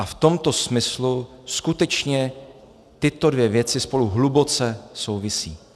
A v tomto smyslu skutečně tyto dvě věci spolu hluboce souvisí.